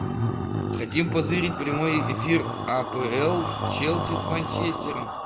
хотим позырить прямой эфир апл челси с манчестером